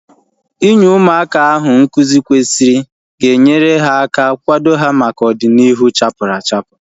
Inye ụmụaka ahu nkụzi kwesịrị ga enyere aka kwado ha maka ọdịnihu chapuru achapu